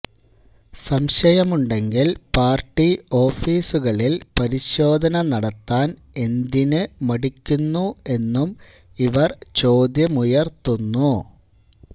സംശയമുണ്ടെങ്കിൽ പാർട്ടി ഓഫീസുകളിൽ പരിശോധന നടത്താൻ എന്തിനു മടിക്കുന്നു എന്നും ഇവർ ചോദ്യമുയർത്തുന്നു